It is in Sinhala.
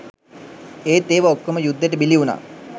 ඒත් ඒවා ඔක්කොම යුද්දෙට බිලි වුණා.